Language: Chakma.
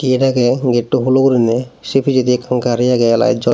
hiye dage getto hulo gurinei se pijedi ekkan gari agey lite jolo.